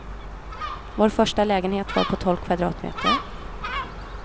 Vår första lägenhet var på tolv kvadratmeter.